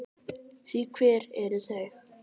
Því hver eru þau?